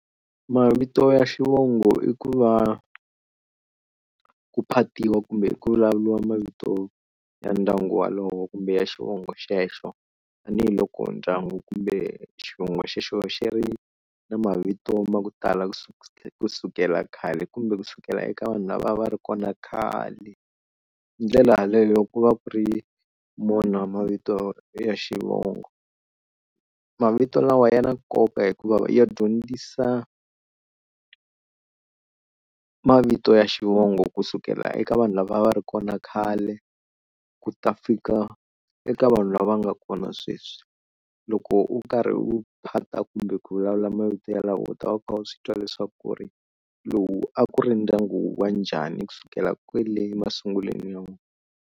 Mavito ya xivongo i ku va ku phatiwa kumbe ku vulavuriwa mavito ya ndyangu walowo kumbe ya xivongo xexo tanihiloko ndyangu kumbe xivongo xexo xi ri na mavito ma ku tala kusuka kusukela khale kumbe kusukela eka vanhu lava a va ri kona khale. Hi ndlela yaleyo ku va ku ri mona mavito ya xivongo. Mavito lawa ya na nkoka hikuva ya dyondzisa mavito ya xivongo kusukela eka vanhu lava va ri kona khale ku ta fika eka vanhu lava nga kona sweswi, loko u karhi u phata kumbe ku vulavula mavito yalawa u ta va u kha u swi twa leswaku ku ri lowu a ku ri ndyangu wanjhani kusukela kwale emasungulweni ya vona.